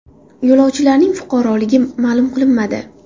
Yo‘lovchilarning fuqaroligi ma’lum qilinmadi.